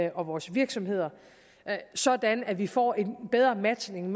og vores virksomheder sådan at vi får en bedre matchning